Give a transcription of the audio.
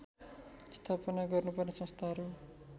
स्थापना गर्नुपर्ने संस्थाहरू